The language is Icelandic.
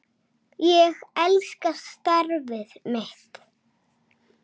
Ég elska starfið mitt.